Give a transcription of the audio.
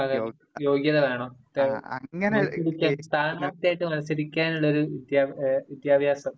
അതെ, വിദ്യാഭ്യാസ യോഗ്യത വേണം.ഇപ്പൊ സ്ഥാനാര്ഥിയായിട്ട് മത്സരിക്കാൻ ഉള്ളൊരു വിദ്യാഭ്യാസം..